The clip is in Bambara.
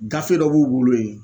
Gafe dɔ b'u bolo yen.